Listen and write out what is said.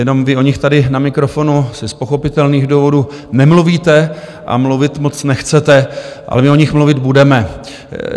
Jenom vy o nich tady na mikrofonu asi z pochopitelných důvodů nemluvíte a mluvit moc nechcete, ale my o nich mluvit budeme.